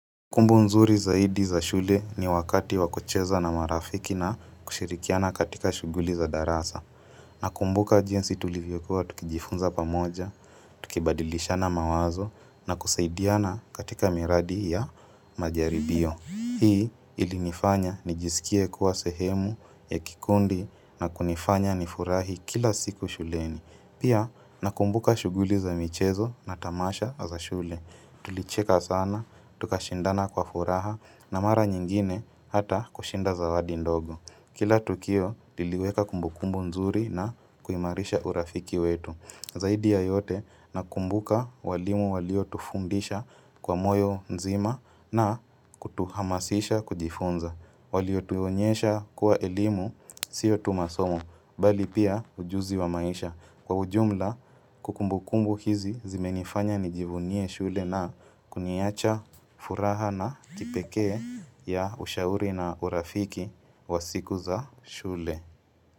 Kumbukumbu nzuri zaidi za shule ni wakati wakucheza na marafiki na kushirikiana katika shughuli za darasa. Nakumbuka jinsi tulivyokuwa tukijifunza pamoja, tukibadilishana mawazo na kusaidiana katika miradi ya majaribio. Hii ilinifanya nijisikie kuwa sehemu ya kikundi na kunifanya nifurahi kila siku shuleni. Pia nakumbuka shughuli za michezo na tamasha za shule. Tulicheka sana, tukashindana kwa furaha, na mara nyingine hata kushinda zawadi ndogo Kila tukio liliweka kumbukumbu nzuri na kuimarisha urafiki wetu Zaidi ya yote, nakumbuka walimu waliotufundisha kwa moyo mzima na kutuhamasisha kujifunza Walituonyesha kuwa elimu sio tu masomo, bali pia ujuzi wa maisha Kwa ujumla, kumbukumbu hizi zimenifanya nijivunie shule na kuniacha furaha na kipekee, ya ushauri na urafiki wa siku za shule.